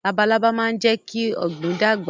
Labalábá máa ń jẹ́ kí ọ̀gbìn dàgbà